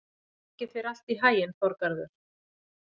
Gangi þér allt í haginn, Þorgarður.